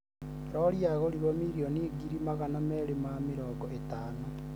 rori yagũrirwo mirioni ngiri magana meerĩ ma mĩrongo ĩtano